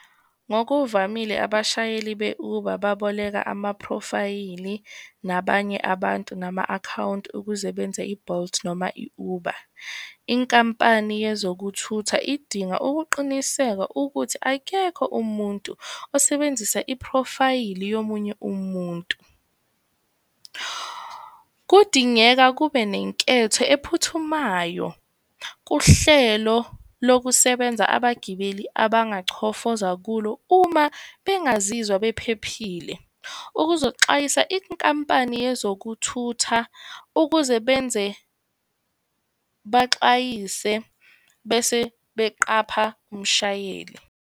Ngokuvamile, abashayeli be-Uber baboleka amaphrofayili, nabanye abantu nama-akhawunti ukuze benze i-Bolt, noma i-Uber. Inkampani yezokuthutha idinga ukuqiniseka ukuthi akekho umuntu osebenzisa iphrofayili yomunye umuntu. Kudingeka kube nenketho ephuthumayo kuhlelo lokusebenza abagibeli abangachofoza kulo uma bengazizwa bephephile. Ukuzoxwayisa inkampani yezokuthutha ukuze benze, baxwayise, bese beqapha umshayeli.